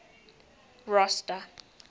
rosta